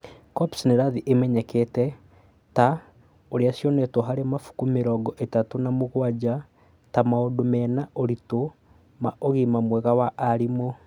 COPs nĩ irathie imenyekete (ta ũrĩa cionetwo harĩ mabuku mĩrongo ĩtatu na mũgwanja) ta maũndũ mena ũritũ ma ũgima mwega wa arimũ.